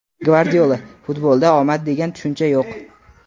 Gvardiola: "Futbolda omad degan tushuncha yo‘q!";.